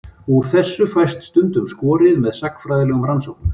Úr þessu fæst stundum skorið með sagnfræðilegum rannsóknum.